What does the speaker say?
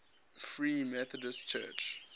free methodist church